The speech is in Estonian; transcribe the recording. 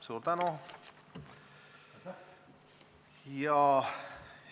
Suur tänu!